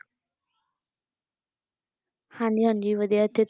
ਹਾਂਜੀ ਹਾਂਜੀ ਵਧੀਆ ਤੇ